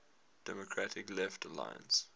democratic left alliance